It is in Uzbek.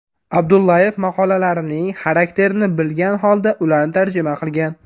Abdullayev maqolalarining xarakterini bilgan holda ularni tarjima qilgan.